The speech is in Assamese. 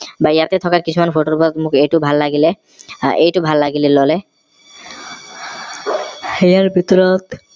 বা ইয়াতে থকা কিছুমান photo ৰ মোক এইটো ভাল লাগিলে আহ এইটো ভাল লাগিলে ললে ইয়াৰ ভিতৰত